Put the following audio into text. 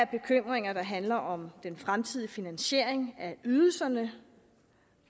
bekymringer der handler om den fremtidige finansiering af ydelserne